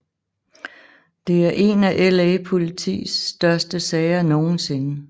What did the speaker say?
Det er en af LA Politis største sager nogensinde